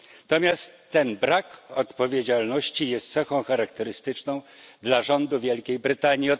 Natomiast ten brak odpowiedzialności jest cechą charakterystyczną dla rządu Wielkiej Brytanii.